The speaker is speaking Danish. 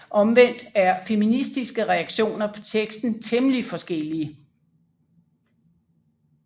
Omvendt er feministiske reaktioner på teksten temmelig forskellige